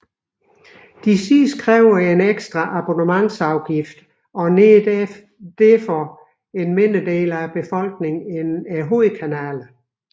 De sidste kræver dog ekstra abonnementsafgift og når derfor en mindre del af befolkningen end hovedkanalerne